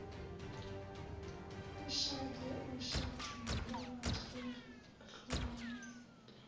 ashade ushadile wehlukanisile